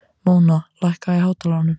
Móna, lækkaðu í hátalaranum.